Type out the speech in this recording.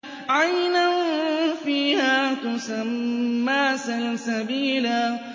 عَيْنًا فِيهَا تُسَمَّىٰ سَلْسَبِيلًا